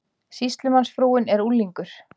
Sýslumannsfrúin er unglingur.